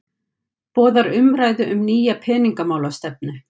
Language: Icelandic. Boðar umræðu um nýja peningamálastefnu